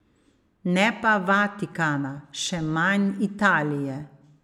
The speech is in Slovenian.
Ne pa Vatikana, še manj Italije.